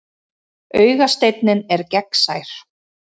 Augasteinninn er gegnsær.